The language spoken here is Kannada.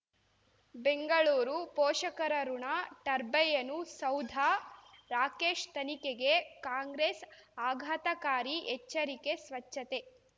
ಬೆಂಗಳೂರು ಪೋಷಕರಋಣ ಟರ್ಬೈನು ಸೌಧ ರಾಕೇಶ್ ತನಿಖೆಗೆ ಕಾಂಗ್ರೆಸ್ ಆಘಾತಕಾರಿ ಎಚ್ಚರಿಕೆ ಸ್ವಚ್ಛತೆ